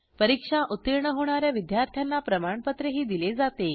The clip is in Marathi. परीक्षा उत्तीर्ण होणा या विद्यार्थ्यांना प्रमाणपत्रही दिले जाते